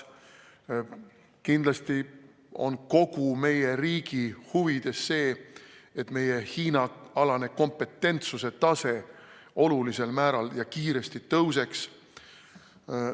Kindlasti on kogu meie riigi huvides see, et meie Hiina-alane kompetentsuse tase olulisel määral ja kiiresti tõuseks.